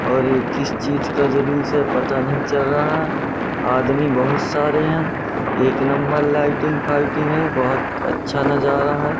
और ये किस चीज का जुलूस है पता नहीं चल रहा है आदमी बहुत सारे हैं एक नंबर लाइटिंग फाइटिंग है बहोत अच्छा नजारा है।